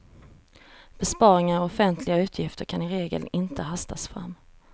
Besparingar i offentliga utgifter kan i regel inte hastas fram.